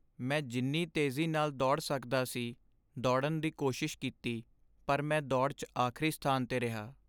ਮੈਂ ਜਿੰਨੀ ਤੇਜ਼ੀ ਨਾਲ ਦੌੜ ਸਕਦਾ ਸੀ, ਦੌੜਨ ਦੀ ਕੋਸ਼ਿਸ਼ ਕੀਤੀ ਪਰ ਮੈਂ ਦੌੜ 'ਚ ਆਖਰੀ ਸਥਾਨ 'ਤੇ ਰਿਹਾ।